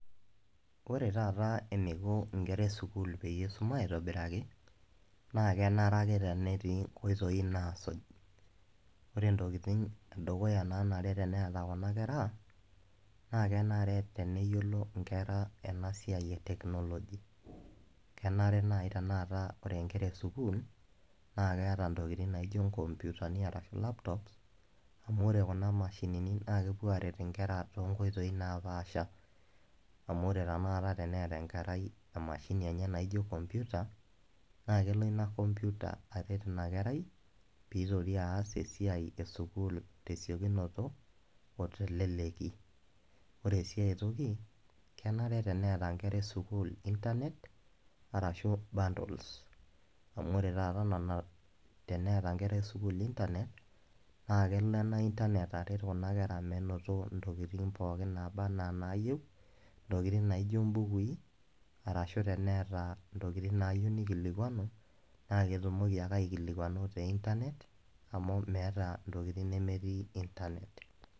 Ore taata eniko inkera esukuul peyie isuma aitobiraki, naa kenare ake tenetii inkoitoii naasuj. Ore ntokiting edukuya nanare teneeta kuna kera, naa kenare teneyiolo inkera enasiai e technology. Kenare nai tanakata ore nkera esukuul, na keeta ntokiting naijo inkompitani arashu laptops, amu ore kuna mashinini na kepuo aret inkera tonkoitoii napaasha. Amu ore tanakata teneeta enkerai emashini enye naijo computer, naa kelo ina computer aret inakerai, pitoki aas esiai esukuul tesiokinoto, o teleleki. Ore si aitoki, kenare teneeta nkera esukuul Internet, arashu bundles. Amu ore taata nena teneeta nkera esukuul Internet, na kelo ena Internet aret kuna kera menoto intokiting pookin naba enaa naayieu, ntokiting naijo bukui, arashu teneeta ntokiting naayieu nikilikwanu, naa ketumoki ake aikilikwanu te Internet, amu meeta ntokiting nemetii Internet.